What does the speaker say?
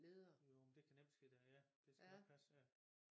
Jo men det kan nemt ske da ja det skal nok passe ja